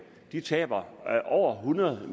taber over hundrede